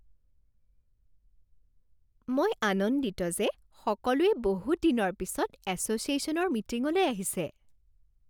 মই আনন্দিত যে সকলোৱে বহুত দিনৰ পিছত এছ'চিয়েশ্যনৰ মিটিঙলৈ আহিছে